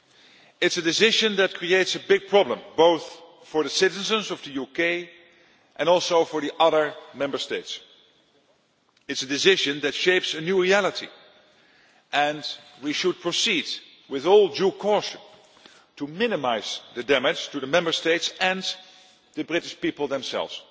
It is a decision that creates a big problem both for the citizens of the UK and also for the other Member States. It is a decision that shapes a new reality, and we should proceed with all due caution, to minimise the damage to the Member States and the British people themselves.